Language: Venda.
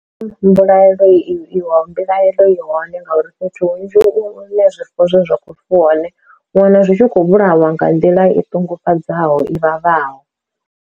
Mbilaelo i wa mbilahelo i hone ngauri fhethu hunzhi hune zwifuwo zwine zwa khou fuwa hone, u wana zwi tshi khou vhulawa nga nḓila i ṱungufhadzaho i vhavhaho.